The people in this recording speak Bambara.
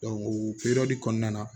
o kɔnɔna na